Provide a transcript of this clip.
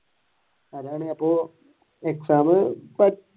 exam